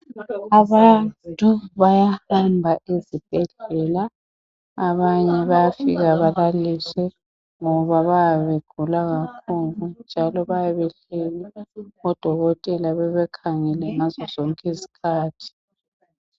Abantu bayahamba ezibhedlela abanye bayafika balaliswe ngoba bayabe begula kakhulu njalo bayabe belele odokotela bebakhangele ngazi zonke izikhathi.